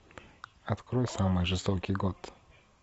открой самый жестокий год